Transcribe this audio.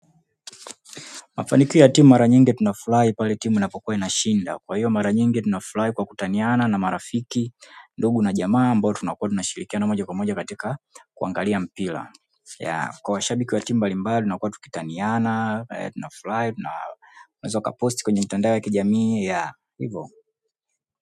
Mafanikio ya timu mara nyingi tunafurahi pale timu inapo kuwa na shinda kwa hiyo mara nyingi tunafurahi kwa kutaniana na marafiki ndugu na jamaa ambao tunakuwa tunashirikiana moja kwa moja katika kuangalia mpira ya kwa washabiki wa timu mbalimbali na kuwa tukitaniana tuna furahi na unaweza ukaposti kwenye mitandao ya kijamii ya hivyo.